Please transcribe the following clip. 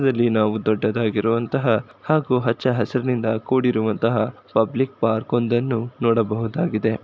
ಇದರಲ್ಲಿ ನಾವು ದೊಡ್ಡದಾಗಿರುವಂತಹ ಹಾಗೂ ಹಚ್ಚಹಸಿರಿನಿಂದ ಕೂಡಿರುವಂತಹ ಪಬ್ಲಿಕ್ ಪಾರ್ಕೊಂ ದನ್ನು ನೋಡಬಹುದಾಗಿದೆ.